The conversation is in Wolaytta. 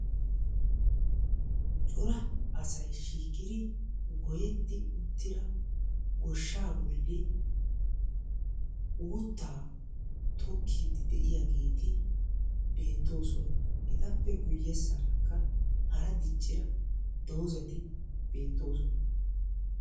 Cora asayi shiiqidi gotetti uttida goshshaa bolli uuttaa tokkiiddi de'iyageeti beettoosona. Etappe guyyeessaara diccida doozati beettoosona.